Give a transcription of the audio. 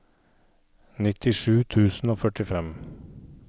nittisju tusen og førtifem